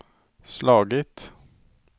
slagit